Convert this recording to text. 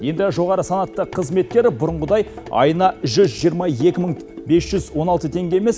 енді жоғары санатты қызметкер бұрынғыдай айына жүз жиырма екі мың бес жүз он алты теңге емес